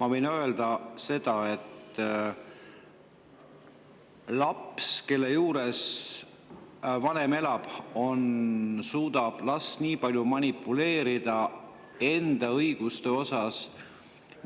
Ma võin öelda seda, et, kelle juures elab, suudab lapse endaga tema õiguste pärast manipuleerida nii palju, kui on